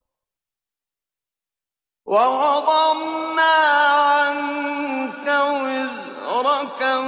وَوَضَعْنَا عَنكَ وِزْرَكَ